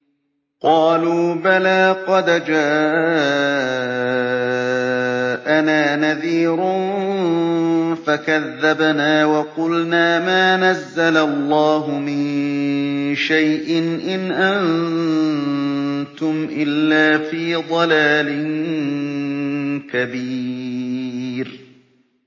قَالُوا بَلَىٰ قَدْ جَاءَنَا نَذِيرٌ فَكَذَّبْنَا وَقُلْنَا مَا نَزَّلَ اللَّهُ مِن شَيْءٍ إِنْ أَنتُمْ إِلَّا فِي ضَلَالٍ كَبِيرٍ